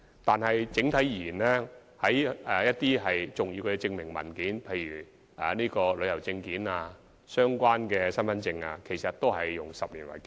但是，整體而言，一些重要的證明文件的有效期，其實都是以10年為基準。